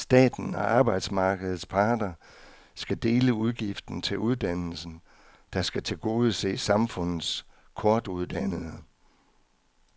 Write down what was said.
Staten og arbejdsmarkedets parter skal dele udgiften til uddannelsen, der skal tilgodese samfundets kortuddannede.